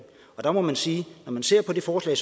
der må man sige at når man ser på det forslag